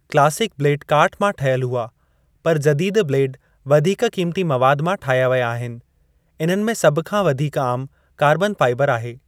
Classic blade काठ मां ठहियल हुआ, पर जदीदु ब्लेड वधीक क़ीमती मवाद मां ठाहिया व्या आहिनि, इन्हनि में सभ खां वधीक आमु कार्बन फाइबर आहे।